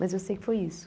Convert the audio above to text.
Mas eu sei que foi isso.